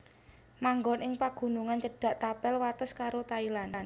Manggon ing pagunungan cedhak tapel wates karo Thailand